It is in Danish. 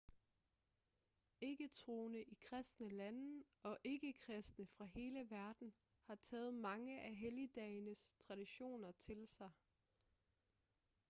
ikke-troende i kristne lande og ikke-kristne fra hele verden har taget mange af helligdagenes traditioner til sig